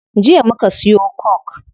Jiya muka siyo coke